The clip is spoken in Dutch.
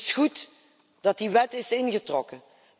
Het is goed dat die wet is ingetrokken.